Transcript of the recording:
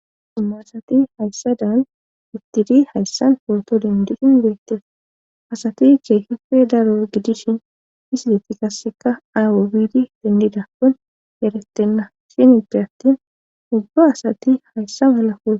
Immaasati hayssadan uttidi hayssan porto dindiqin beette asati ceekife daro gidishin isideti kasseka aywo biidi dendida kon eretenna sini de attin ubba asati hayssa mala kule.